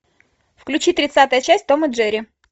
включи тридцатая часть том и джерри